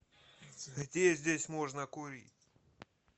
где здесь можно курить